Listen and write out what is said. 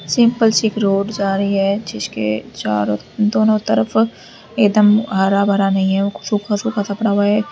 Simple सी इक road जा रही है जिसके चारों दोनों तरफ एकदम हरा भरा नहीं है सूखा सूखा सा पड़ा हुआ है।